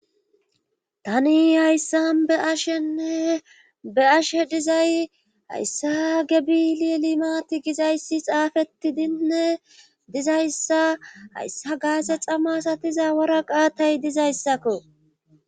tani hayssan be7ashenne be ashe dizay hayssa a gebili limati gizayssi xaafeti dinne dizayssa hayssa gaase xamasatiza waraqaatay dizayssakko